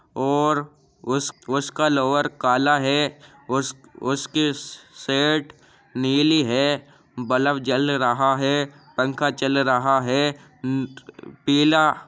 और उस उसका लोअर काला है। उस उसकी श्श शेर्ट नीली है। बलब जल रहा है। पंखा चल रहा है। अम्म पीला --